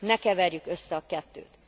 Ne keverjük össze a kettőt.